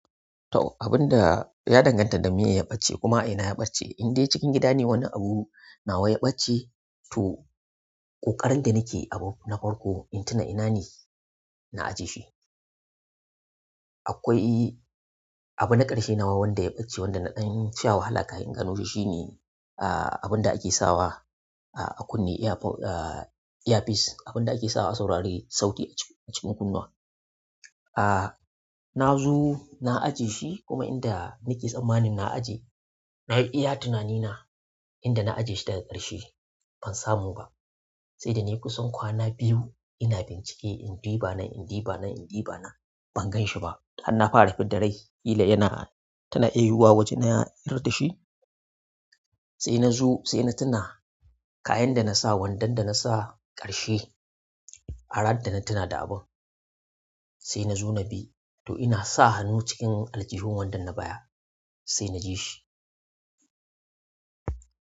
To abun da ya danganta da me ya ɓace kuma ina ya ɓace in dai cikin gida ne wani abu na wa ya ɓace to ƙoƙarin da nake abu na farko in tuna ina ne na ajiye shi. Akwai abu na ƙarshe nawa wanda ya ɓace wanda na ɗan sha wahala kafin gano shi shine ah abun da ake sawa ah a kunne earpode ah earpiece abun da ake sawa a saurari sauti a cikin kunnuwa. Ah na zo na ajiye shi kuma inda nake tsammanin na ajiye na yi iya tunani na inda na ajiye shi daga ƙarshe ban samu ba. Sai da ne kusan kwana biyu ina bincike in duba ba na in duba nan in duba na ban gan shi ba. An na fara fidda rai ƙila yana tuna ya yi yiwuwa waje na yar da shi. Sai na zu sai na tuna kayan da na sa wandon da na sa ƙarshe farat da na tuna da abun. Sai na zo na bi to ina sa hannu cikin aljihun wandon na baya sai na ji shi.